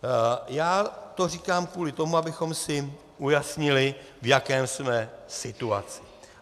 Já to říkám kvůli tomu, abychom si ujasnili, v jaké jsme situaci.